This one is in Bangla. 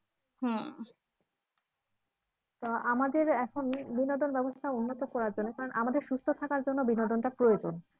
আহ আমাদের এখনই বিনোদন ব্যবস্থা উন্নত করার জন্য কারণ আমাদের সুস্থ থাকার জন্য বিনোদনটা প্রয়োজন।